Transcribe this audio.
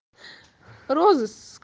розыск